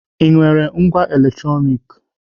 Ị nwere ngwá electronic?